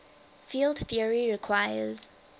field theory requires